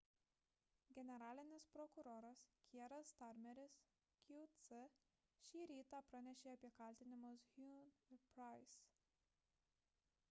generalinis prokuroras kieras starmeris qc šį rytą pranešė apie kaltinimus huhne ir pryce